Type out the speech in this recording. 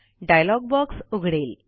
dialogue box उघडेल